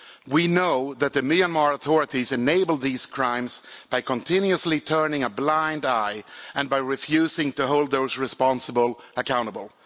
We know that the Myanmar authorities enabled these crimes by continuously turning a blind eye and by refusing to hold those responsible accountable.